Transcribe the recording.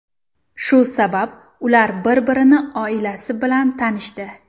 Shu sabab, ular bir-birini oilasi bilan tanishdi.